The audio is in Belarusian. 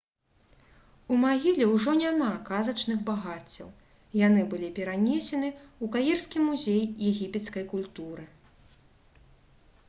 у магіле ўжо няма казачных багаццяў яны былі перанесены ў каірскі музей егіпецкай культуры